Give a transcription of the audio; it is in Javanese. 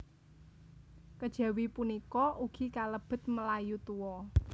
Kejawi punika ugi kalebet Melayu Tua